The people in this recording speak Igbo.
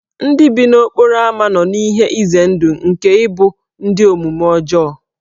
Ndị bi n'okporo ámá nọ n'ihe ize ndụ nke ịbụ ndị omume ọjọọ.